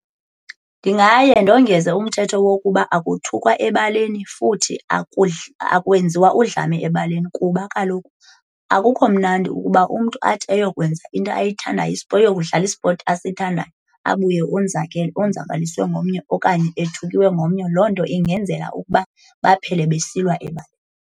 Ndingaye ndongeze umthetho wokuba akuthukwa ebaleni futhi akwenziwa udlame ebaleni, kuba kaloku akukho mnandi ukuba umntu athi ayokwenza into ayithandayo ayokudlala ispothi asithandayo abuye onzakele, onzakaliswe ngomnye okanye ethukiwe ngomnye. Loo nto ingenzela ukuba baphele besilwa ebaleni.